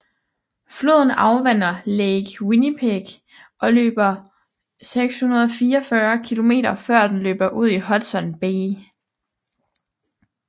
Floden afvander Lake Winnipeg og løber 644 km før den løber ud i Hudson Bay